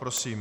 Prosím.